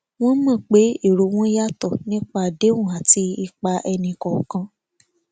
wọn mọ pé èrò wọn yàtò nípa àdéhùn àti ipa ẹni kọọkan